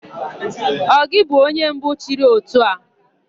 Ọ gị bụ onye mbụ chịrị ótù a?